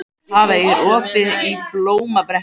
Hafey, er opið í Blómabrekku?